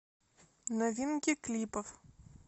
новинки клипов